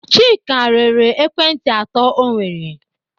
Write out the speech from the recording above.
Chika rere ekwentị atọ o nwere.